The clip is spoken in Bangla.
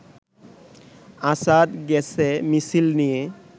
আসাদ গেছে মিছিল নিয়ে